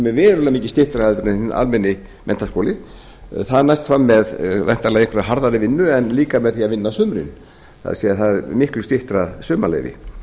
er verulega mikið styttra heldur en hinn almenni menntaskóli það næst fram með væntanlega einhverri harðari vinnu en líka með því að vinna á sumrin það er miklu styttra sumarleyfi